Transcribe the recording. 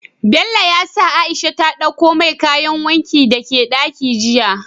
Bello ya sa aishi ta ɗakko mai kayan wankin sa daka ɗaki jiya